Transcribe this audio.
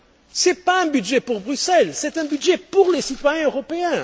Ce n'est pas un budget pour Bruxelles, c'est un budget pour les citoyens européens.